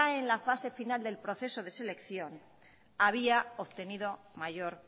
en la fase final del proceso de selección había obtenido mayor